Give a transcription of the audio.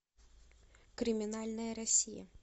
криминальная россия